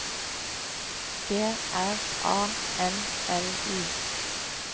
G R A N L I